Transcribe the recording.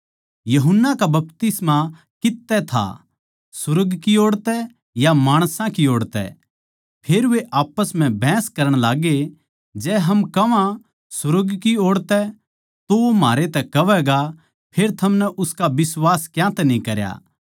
यूहन्ना का बपतिस्मा कित्त तै था सुर्ग की ओड़ तै या माणसां को ओड़ तै फेर वे आप्पस म्ह बहस करण लाग्गे जै हम कह्वां सुर्ग की ओड़ तै तो वो म्हारै तै कहवैगा फेर थमनै उसका बिश्वास क्यांतै न्ही करया